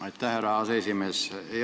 Aitäh, härra aseesimees!